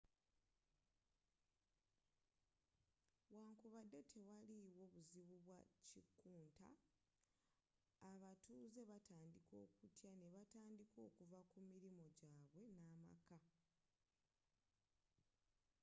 wankubadde tewaaliwo buzibu bwa kikunta abatuuze batandika okutya nebatandika okuva kumilimo jaabwe n'amaka